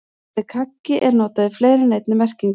Orðið kaggi er notað í fleiri en einni merkingu.